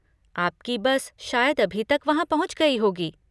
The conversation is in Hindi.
आपकी बस शायद अभी तक वहाँ पहुंच गई होगी।